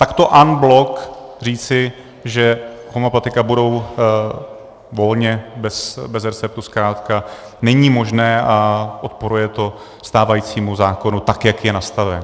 Takto en bloc říci, že homeopatika budou volně bez receptu, zkrátka není možné a odporuje to stávajícímu zákonu, tak jak je nastaven.